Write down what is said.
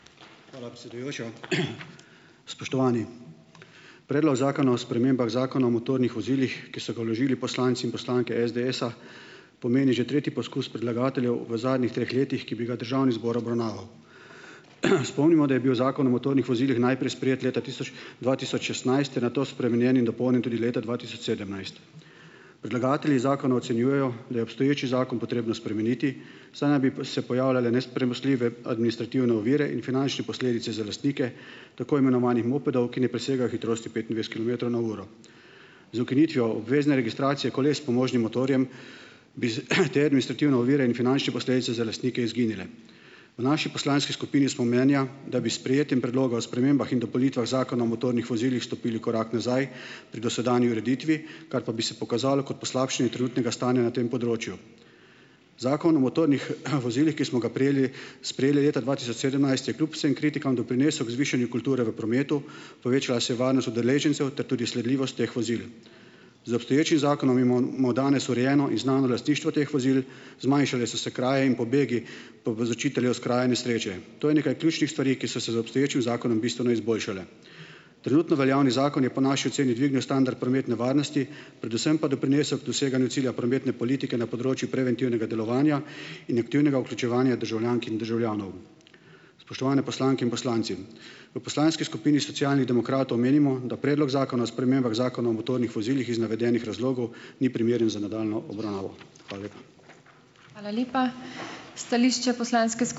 Hvala, predsedujoča. Spoštovani! Predlog zakona o spremembah Zakona o motornih vozilih, ki so ga vložili poslanci in poslanke SDS-a, pomeni že tretji poskus predlagateljev v zadnjih treh letih, ki bi ga državni zbor obravnaval. Spomnimo, da je bil Zakon o motornih vozilih najprej sprejet leta tisoč dva tisoč šestnajst ter nato spremenjen in dopolnjen tudi leta dva tisoč sedemnajst. Predlagatelji zakona ocenjujejo, da je obstoječi zakon potrebno spremeniti, saj naj bi se pojavljale nepremostljive administrativne ovire in finančne posledice za lastnike tako imenovanih mopedov, ki ne presegajo hitrosti petindvajset kilometrov na uro. Z ukinitvijo obvezne registracije koles s pomožnim motorjem bi z, te administrativne ovire in finančne posledice za lastnike izginile. V naši poslanski skupini smo mnenja, da bi s sprejetjem Predloga zakona o spremembah in dopolnitvah Zakona o motornih vozilih stopili korak nazaj pri dosedanji ureditvi, kar pa bi se pokazalo kot poslabšanje trenutnega stanja na tem področju. Zakon o motornih, vozilih, ki smo ga prejeli sprejeli leta dva tisoč sedemnajst, je kljub vsem kritikam doprinesel k zvišanju kulture v prometu, povečala se je varnost udeležencev ter tudi sledljivost teh vozil. Z obstoječim zakonom imamo danes urejeno in znano lastništvo teh vozil, zmanjšale so se kraje in pobegi povzročiteljev s kraja nesreče. To je nekaj ključnih stvari, ki so se z obstoječim zakonom bistveno izboljšale. Trenutno veljavni zakon je po naši oceni dvignil standard prometne varnosti, predvsem pa doprinesel k doseganju cilja prometne politike na področju preventivnega delovanja in aktivnega vključevanja državljank in državljanov. Spoštovane poslanke in poslanci! V poslanski skupini Socialnih demokratov menimo, da Predlog zakona o spremembah zakona o motornih vozilih iz navedenih razlogov ni primeren za nadaljnjo obravnavo. Hvala lepa.